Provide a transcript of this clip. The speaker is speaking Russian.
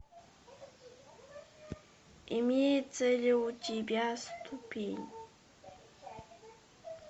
имеется ли у тебя ступень